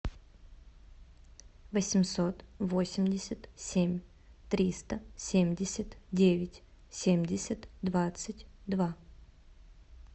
восемьсот восемьдесят семь триста семьдесят девять семьдесят двадцать два